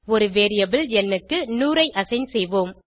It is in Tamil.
ஒரு வேரியபிள் ந் க்கு 100 ஐ அசைன் செய்வோம்